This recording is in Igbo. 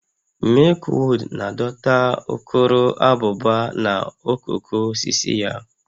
Milkweed na-adọta ukuruabụba na okooko osisi ya